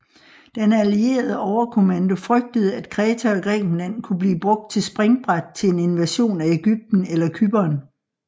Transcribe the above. Den allierede overkommando frygtede at Kreta og Grækenland kunne blive brugt til springbræt til en invasion af Ægypten eller Cypern